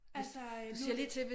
Altså nu